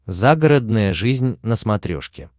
загородная жизнь на смотрешке